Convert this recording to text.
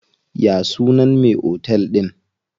Ya sunan me otel din?